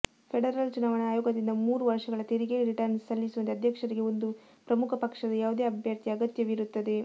federal ಚುನಾವಣಾ ಆಯೋಗದೊಂದಿಗೆ ಮೂರು ವರ್ಷಗಳ ತೆರಿಗೆ ರಿಟರ್ನ್ಸ್ ಸಲ್ಲಿಸುವಂತೆ ಅಧ್ಯಕ್ಷರಿಗೆ ಒಂದು ಪ್ರಮುಖ ಪಕ್ಷದ ಯಾವುದೇ ಅಭ್ಯರ್ಥಿಯ ಅಗತ್ಯವಿರುತ್ತದೆ